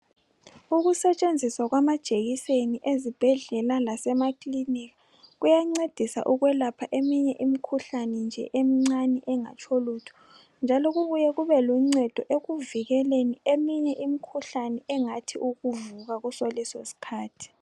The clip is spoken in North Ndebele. ukusetshenziswa kwamajekiseni ezibhedlela lasema kliniki kuyancedisa ukulapha eyinye imikhuhlane nje emincane engatsho lutho njalo kube luncedo ekuvikeleni eminye imikhuhlane engathi ukuvuka nje kusolesi iskhathi